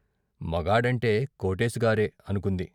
మొగాడంటే కోటేశుగారే అనుకుంది.